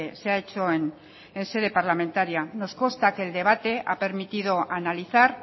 se ha hecho en sede parlamentaria nos consta que el debate ha permitido analizar